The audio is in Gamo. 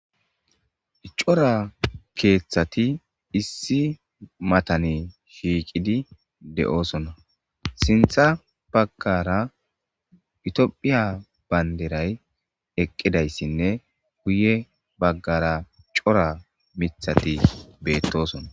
Cora keeththati issi matani shiiqidi de7oosona sintha baggara itiophiya banderay eqqidayssinne guye baggara cora mithati beettosona